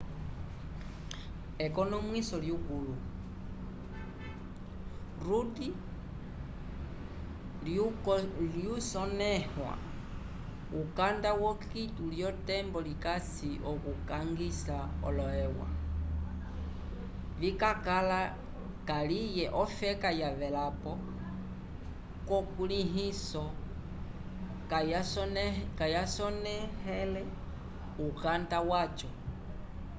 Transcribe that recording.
ekonomwiso lyukũlu rudd lyokusonẽha ukanda wo quioto lyotembo likasi okukangisa olo eua vikakala kaliye ofeka yavelapo kukulĩhiso kayasonẽhele ukanda waco